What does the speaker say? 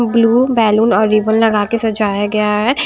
Blue balloon और ribbon लगाके सजाया गया है।